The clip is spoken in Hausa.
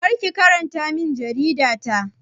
Kar ki karanta min jarida ta!